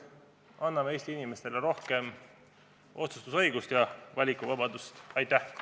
Anname Eesti inimestele rohkem otsustusõigust ja valikuvabadust!